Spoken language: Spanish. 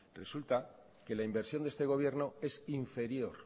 resulta que la inversión de este gobierno es inferior